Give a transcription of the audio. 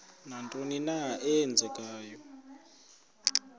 nantoni na eenzekayo